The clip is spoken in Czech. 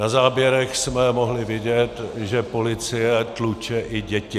Na záběrech jsme mohli vidět, že policie tluče i děti.